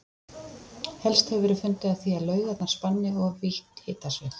Helst hefur verið fundið að því að laugarnar spanni of vítt hitasvið.